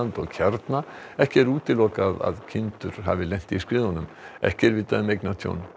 og kjarna ekki er útilokað að kindur hafi lent í skriðunum ekki er vitað um eignatjón